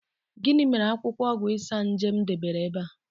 Gini mere akwukwo ogwu Isanaje m debere ebe a?